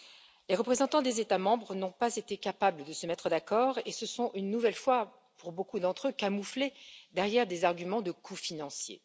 Les représentants des États membres n'ont pas été capables de se mettre d'accord et se sont, une nouvelle fois, pour beaucoup d'entre eux, camouflés derrière des arguments de coût financier.